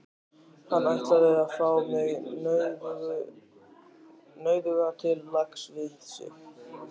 Hann ætlaði að fá mig, nauðuga, til lags við sig.